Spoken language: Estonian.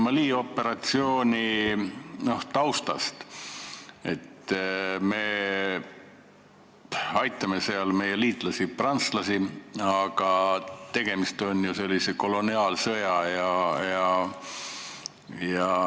Mali operatsiooni taustast nii palju, et me aitame seal meie liitlasi prantslasi, aga tegemist on ju koloniaalsõjaga.